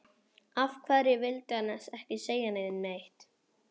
Af hverju vildi hann ekki segja neinum neitt?